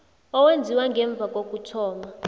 owenziwe ngemva kokuthoma